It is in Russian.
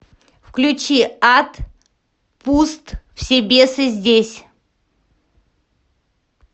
включи ад пуст все бесы здесь